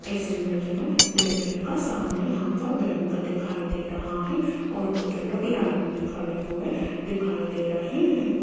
इस इमेज में देखिएगा सामने यहां पर बैंक दिखाई दे रहा है और कुछ लोग लाइन में खड़े हुए दिखाई दे रहे हैं।